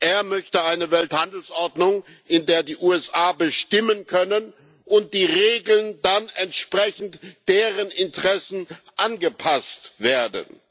Er möchte eine Welthandelsordnung, in der die USA bestimmen können und die Regeln dann entsprechend ihren Interessen angepasst werden.